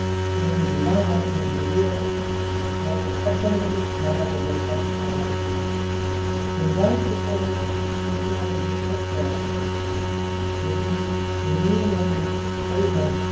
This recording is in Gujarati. તેમને ધિરાણ માટે ની જરૂરિયાતો માટે અ સંગઠિત નાણા બજાર પર આધારિત છે ધંધા ની ચુકવણી માં check ના બદલે cash દ્વારા કરે છે જેથી ની ખરી નોધ